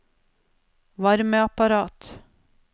varmeapparat